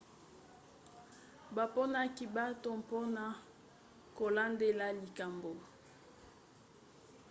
baponaki bato mpona kolandela likambo